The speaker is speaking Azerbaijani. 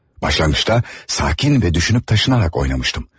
Başlanğıçda sakit və düşünüb daşınaraq oynamışdım.